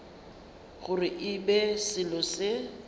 gore e be selo se